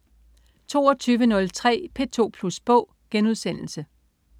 22.03 P2 Plus Bog*